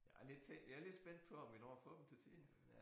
Jeg er lidt te jeg er lidt spændt på om vi når at få dem til tiden